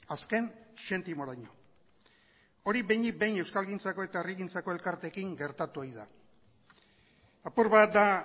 azken zentimoraino hori behinik behin euskalgintzako eta herrigintzako elkarteekin gertatu ohi da apur bat da